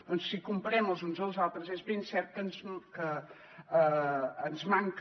doncs si ens comparem els uns als altres és ben cert que ens manca